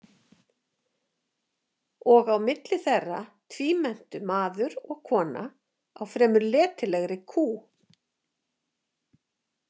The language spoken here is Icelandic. Og á milli þeirra tvímenntu maður og kona á fremur letilegri kú.